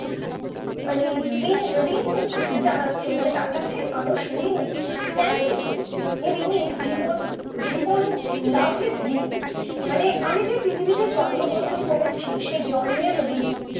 মানে ঋণ ঋণ জানাচ্ছে মানে তার কাছে মানুষ ঋণী কেন ঋণী এ ঋণী জীবন জীবন লেভার ঋনী মানে আমি যে পৃথিবীতে জন্ম গ্রহণ করেছি সেই জন্মের ঋণ